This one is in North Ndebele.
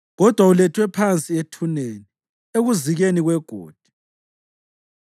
Kodwa ulethwe phansi ethuneni, ekuzikeni kwegodi.